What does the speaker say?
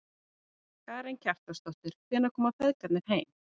Karen Kjartansdóttir: Hvenær koma feðgarnir heim?